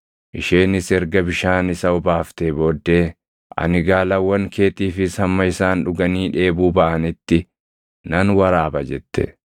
Isheenis erga bishaan isa obaaftee booddee, “Ani gaalawwan keetiifis hamma isaan dhuganii dheebuu baʼanitti nan waraaba” jette.